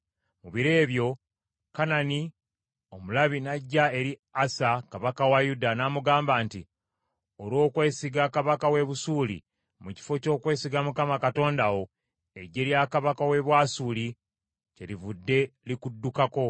Mu biro ebyo Kanani omulabi n’ajja eri Asa kabaka wa Yuda, n’amugamba nti, “Olw’okwesiga kabaka w’e Busuuli mu kifo ky’okwesiga Mukama Katonda wo, eggye lya kabaka w’e Bwasuli kyelivudde likuddukako.